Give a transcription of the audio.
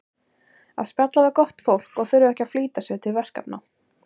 Að spjalla við gott fólk og þurfa ekki að flýta sér til verkefna.